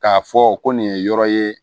K'a fɔ ko nin ye yɔrɔ ye